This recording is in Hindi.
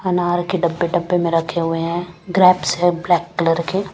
अनार के डब्बे डब्बे में रखे हैं ग्रैप्स हैं जिसके ब्लैक कलर के।